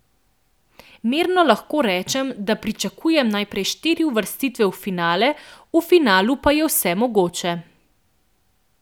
Mirno lahko rečem, da pričakujem najprej štiri uvrstitve v finale, v finalu pa je vse mogoče.